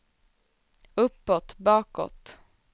uppåt bakåt